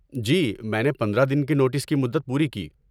جی، میں نے پندرہ دن کی نوٹس کی مدت پوری کی